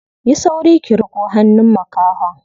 Yi sauri ki riƙo hannun makahon.